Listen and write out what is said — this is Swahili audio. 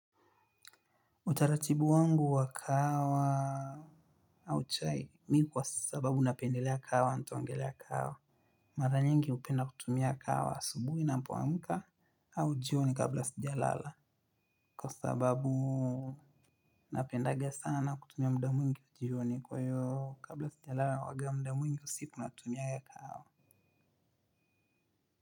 Utaratibu wangu wa kahawa au chai mimi kwa sababu napendelea kahawa ntaongelea kahawa. Mara nyingi hupenda kutumia kahawa asubuhi napoamka au jioni kabla sijalala. Kwa sababu napendaga sana kutumia muda mwingi jioni kwa hiyo kabla sijalala huanga muda mwingi usiku natumia kahawa.